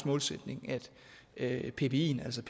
målsætning at pbien altså